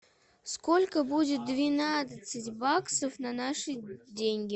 сколько будет двенадцать баксов на наши деньги